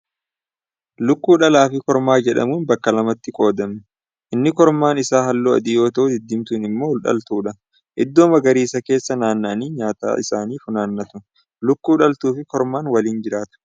Lukkuun dhalaa fi kormaa jedhamuun bakka lamatti qoodami. Inni kormaan isa halluu adii yoo ta'u, diddiimtuun immoo dhaltuudha. Iddoo magariisaa keessa naanna'anii nyaata isaanii funaannatu. Lukkuu dhaltuu fi kormaan waliin jiraatu.